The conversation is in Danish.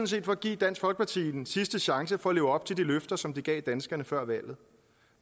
set for at give dansk folkeparti en sidste chance for at leve op til de løfter som de gav danskerne før valget